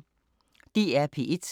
DR P1